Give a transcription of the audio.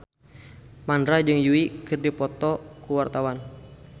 Mandra jeung Yui keur dipoto ku wartawan